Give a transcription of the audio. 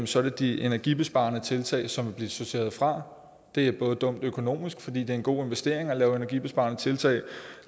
så er det de energibesparende tiltag som vil blive sorteret fra det er både dumt økonomisk fordi det er en god investering at lave energibesparende tiltag og